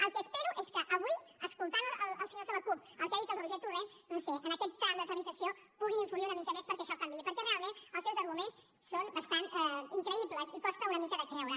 el que espero és que avui escoltant els senyors de la cup el que ha dit el roger torrent no ho sé en aquest tram de tramitació puguin influir una mica més perquè això canviï perquè realment els seus arguments són bastant increïbles i costa una mica de creure